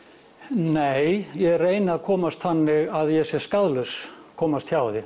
nei ég reyni að komast þannig að ég sé skaðlaus komast hjá því